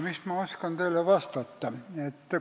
Mis ma teile vastata oskan?